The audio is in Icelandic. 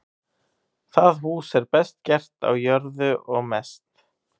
Það hús er best gert á jörðu og mest.